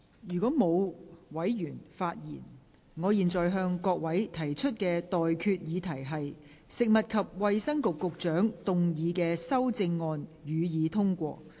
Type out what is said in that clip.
如果沒有委員想發言，我現在向各位提出的待決議題是：食物及衞生局局長動議的修正案，予以通過。